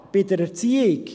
Bei der Erziehung?